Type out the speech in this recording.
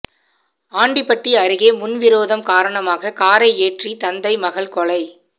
ஆண்டிபட்டி அருகே முன்விரோதம் காரணமாக காரை ஏற்றி தந்தை மகள் கொலை